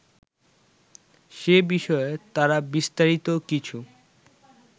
সে বিষয়ে তারা বিস্তারিত কিছু